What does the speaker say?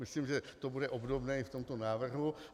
Myslím, že to bude obdobné i v tomto návrhu.